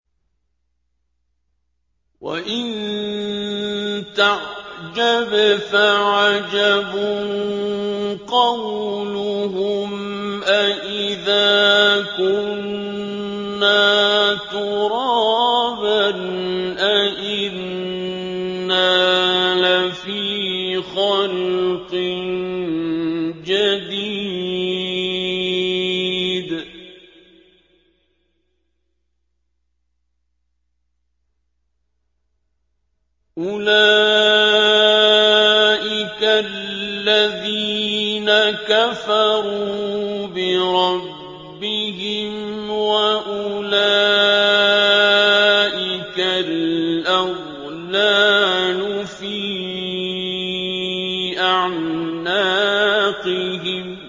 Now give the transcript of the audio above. ۞ وَإِن تَعْجَبْ فَعَجَبٌ قَوْلُهُمْ أَإِذَا كُنَّا تُرَابًا أَإِنَّا لَفِي خَلْقٍ جَدِيدٍ ۗ أُولَٰئِكَ الَّذِينَ كَفَرُوا بِرَبِّهِمْ ۖ وَأُولَٰئِكَ الْأَغْلَالُ فِي أَعْنَاقِهِمْ ۖ